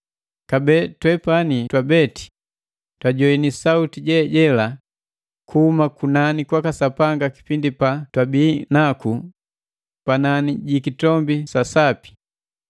Kabee, twepani twabeti twajoini sauti je jela kuhuma kunani kwaka Sapanga kipindi pa twabii naku panani ji kitombi sa sapi.